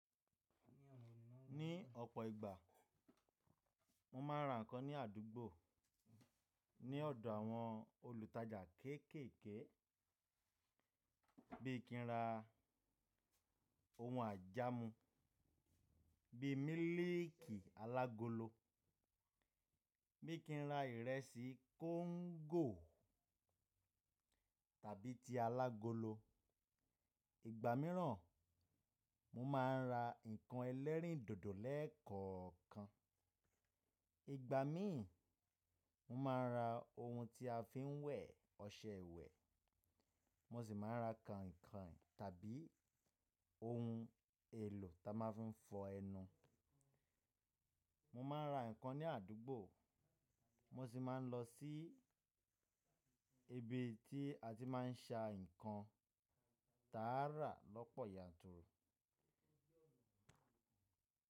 Ní ọ̀pọ̀ ìgbà mo ma ń ra ǹkan ní àdúgbò ní ọ̀dọ̀ àwọn olùtajà kéékèèké bí i kí n ra ohun àjámù bí i mílíìkì alágolo, bí i kí n ra ìrẹsì kóńgò tàbí ti alágolo. Ìgbà míràn, mo ma ń ra ǹkan ẹlẹ́rìndòdò lẹ́ẹ̀kọ̀ọ̀kan. Ìgbà mi ì, mo ma ń ra ohun tí a fi ń wẹ̀, ọṣẹ ìwẹ̀. Mo sì máa ń ra kainkain tàbí ohun èlò ta máa fi ń fọ ẹnu. Mo ma ń ra ǹkan ní àdúgbò mo sì máa ń lọ sí ibi tí a ti máa ń ṣa ǹkan tààrà lọ́pọ̀ yanturu.